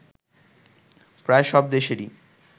প্রায় সব দেশেরই